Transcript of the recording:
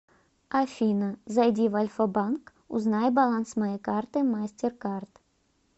афина зайди в альфа банк узнай баланс моей карты мастеркард